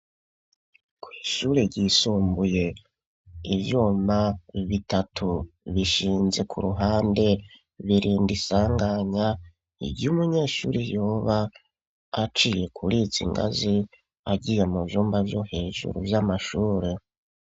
Kw'ishure ryisumbuye, ivyuma bitatu, bishinze ku ruhande; birinda isanganya, ry'umunyeshure, yoba aciye kuri izi ngazi, agiye mu vyumba vyo hejuru, vy'amashure.